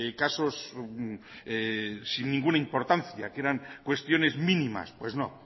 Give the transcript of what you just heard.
casos sin ninguna importancia que eran cuestiones mínimas pues no